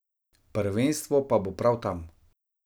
Prvenstvo pa bo prav tam.